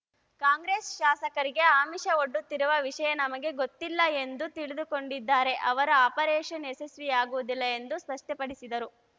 ಕಾಂಗ್ರೆಸ್‌ ಶಾಸಕರಿಗೆ ಆಮಿಷ ಒಡ್ಡುತ್ತಿರುವ ವಿಷಯ ನಮಗೆ ಗೊತ್ತಿಲ್ಲ ಎಂದು ತಿಳಿದುಕೊಂಡಿದ್ದಾರೆ ಅವರ ಆಪರೇಷನ್‌ ಯಶಸ್ವಿಯಾಗುವುದಿಲ್ಲ ಎಂದು ಸ್ಪಷ್ಟಪಡಿಸಿದರು